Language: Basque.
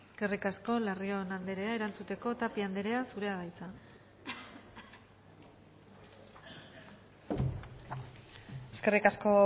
eskerrik asko larrion andrea erantzuteko tapia andrea zurea da hitza eskerrik asko